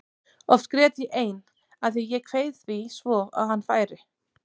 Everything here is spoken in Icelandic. Oft grét ég ein af því að ég kveið því svo að hann færi.